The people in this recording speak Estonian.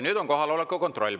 Nüüd on kohaloleku kontroll.